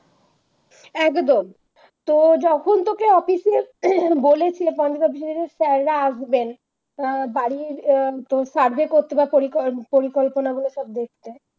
একদম তো যখন তোকে Office এ উহ বলেছিল sir রা আসবেন বাড়ি আহ তোর survey করতে বা পরি পরিকল্পনা গুলো সব দেখবে